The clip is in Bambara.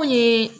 Ko ye